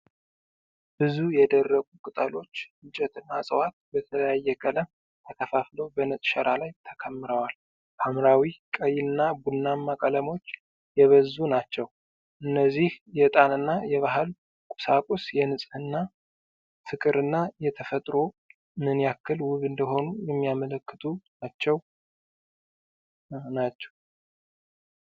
ብዙ የደረቁ ቅጠሎች፣ እንጨቶችና ዕፅዋት በተለያየ ቀለም ተከፋፍለው በነጭ ሸራ ላይ ተከምረዋል። ሐምራዊ፣ ቀይና ቡናማ ቀለሞች የበዙ ናቸው። እነዚህ የዕጣንና የባህል ቁሳቁስ፣ የንጽህና ፍቅር እና የተፈጥሮ ምን ያክል ውብ እንደሆኑ የሚያመልክቱ ናቸው። ናቸው።